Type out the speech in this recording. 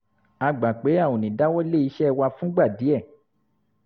a gbà pé a ò ní dáwọ́ lé iṣẹ́ wa fúngbà díẹ̀